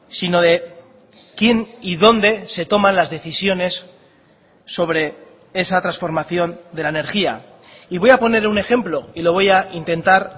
sino de quién y dónde se toman las decisiones sobre esa transformación de la energía y voy a poner un ejemplo y lo voy a intentar